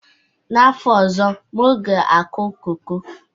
N'afọ ọzọ, m ga-akụ koko